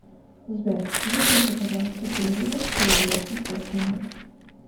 сбер выключи пожалуйста телевизор через двадцать пять минут